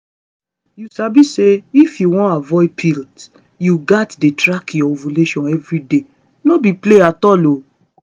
you sabi say if you wan avoid pill you gats dey track your ovulation everyday no be play at all